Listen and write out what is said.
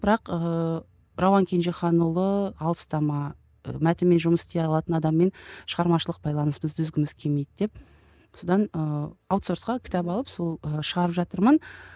бірақ ыыы рауан кенжеханұлы алыстама мәтінмен жұмыс істей алатын адаммен шығармашылық байланысымызды үзгіміз келмейді деп содан ыыы аутсорсқа кітап алып сол ы шығарып жатырмын